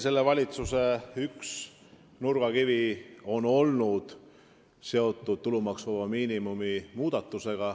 Selle valitsuse üks nurgakivi on tõesti olnud seotud tulumaksuvaba miinimumi muudatusega.